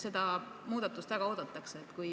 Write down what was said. Seda muudatust väga oodatakse.